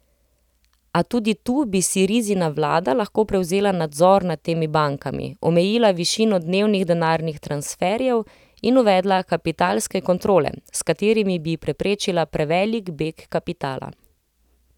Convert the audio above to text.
A tudi tu bi Sirizina vlada lahko prevzela nadzor nad temi bankami, omejila višino dnevnih denarnih transferjev in uvedla kapitalske kontrole, s katerimi bi preprečila prevelik beg kapitala.